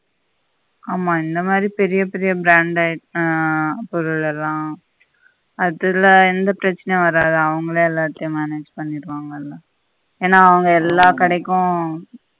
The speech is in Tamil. ஆமா என்னமாதி பெரிய பெரிய brand பொருள்ளெல்லாம் அதுல எந்த பிரச்சினையும் வராது அவங்களே எல்லாத்தையும் manage பண்ணிடு வாங்கல்ல ஏனா அவங்க எல்லா கடைக்கும்